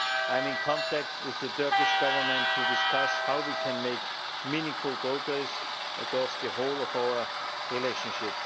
I am in contact with the Turkish Government to discuss how we can make meaningful progress across the whole of our relationship.